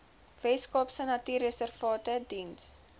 weskaapse natuurreservate diens